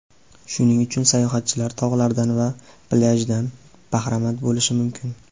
Shuning uchun sayohatchilar tog‘lardan va plyajdan bahramand bo‘lishi mumkin.